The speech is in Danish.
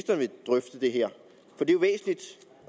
drøfte det her